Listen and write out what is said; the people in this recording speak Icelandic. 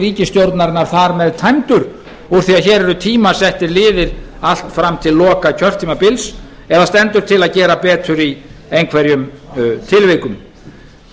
úr því að hér eru tímasettir liðir allt fram til loka kjörtímabils eða stendur til að gera betur í einhver tilvikum